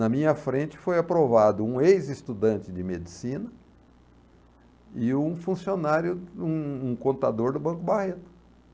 Na minha frente foi aprovado um ex-estudante de medicina e um funcionário, um um contador do Banco Barreto.